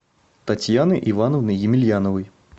татьяны ивановны емельяновой